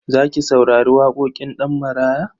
Za ki saurari waƙoƙin Ɗanmaraya?